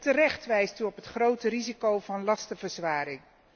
Terecht wijst u op het grote risico van lastenverzwaring.